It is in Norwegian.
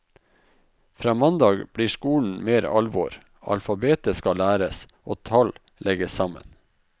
Fra mandag blir skolen mer alvor, alfabetet skal læres, og tall legges sammen.